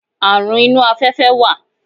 Àrun inú afẹ́fẹ́ wà.